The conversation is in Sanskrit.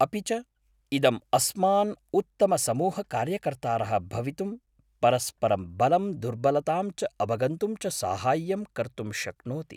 अपि च, इदम् अस्मान् उत्तमसमूहकार्यकर्तारः भवितुं, परस्परं बलं दुर्बलताम् च अवगन्तुं च साहाय्यं कर्तुं शक्नोति।